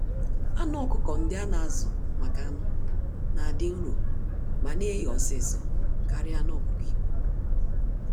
Anụ ọkụkọ ndị ana-azu-maka-anụ̀ n'adị nro ma neghe ọsịsọ karịa anụ ọkụkọ Igbo